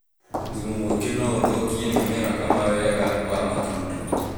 Thumu mwingi no ũthũkie mĩmera kama wega wa matunda